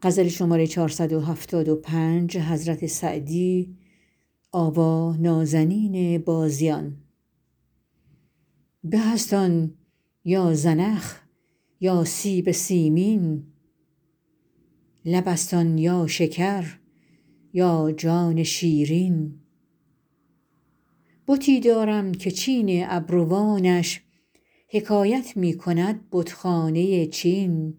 به است آن یا زنخ یا سیب سیمین لب است آن یا شکر یا جان شیرین بتی دارم که چین ابروانش حکایت می کند بتخانه چین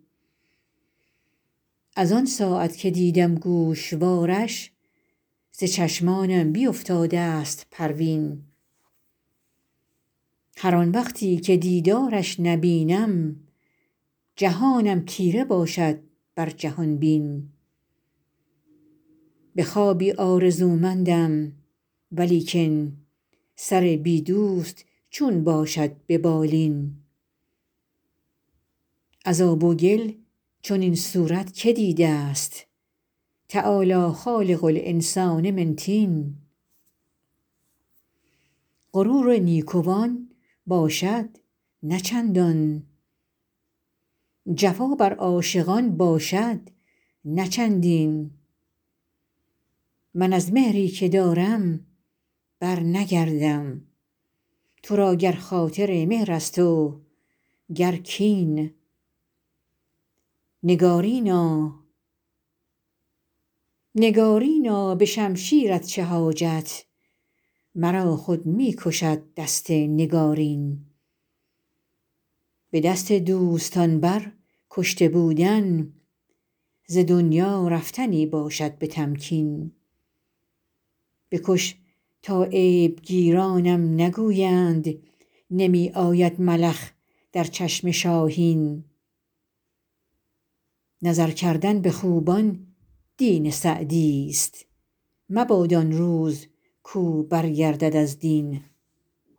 از آن ساعت که دیدم گوشوارش ز چشمانم بیفتاده ست پروین هر آن وقتی که دیدارش نبینم جهانم تیره باشد بر جهان بین به خوابی آرزومندم ولیکن سر بی دوست چون باشد به بالین از آب و گل چنین صورت که دیده ست تعالی خالق الانسان من طین غرور نیکوان باشد نه چندان جفا بر عاشقان باشد نه چندین من از مهری که دارم برنگردم تو را گر خاطر مهر است و گر کین نگارینا به شمشیرت چه حاجت مرا خود می کشد دست نگارین به دست دوستان بر کشته بودن ز دنیا رفتنی باشد به تمکین بکش تا عیب گیرانم نگویند نمی آید ملخ در چشم شاهین نظر کردن به خوبان دین سعدیست مباد آن روز کاو برگردد از دین